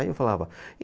Aí eu falava.